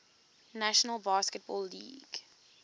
national basketball league